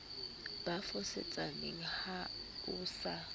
ba fosetsaneng ha o sa